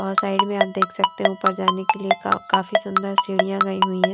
और साइड में आप देख सकते है ऊपर जाने के लिए काफी सुंदर सीढ़ियां गयी हुई हैं।